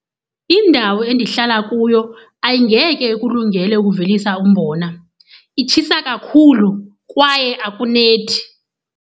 Indawo endihlala kuyo ayingeke ikulungele ukuvelisa umbona, itshisa kakhulu kwaye akunethi.